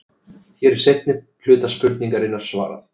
Hér er seinni hluta spurningarinnar svarað.